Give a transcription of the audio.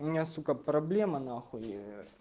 у меня сука проблема нахуй